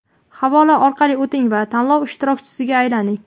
Havola orqali o‘ting va tanlov ishtirokchisiga aylaning!.